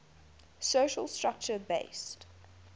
social structure based